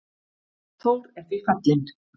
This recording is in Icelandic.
Þór er því fallinn.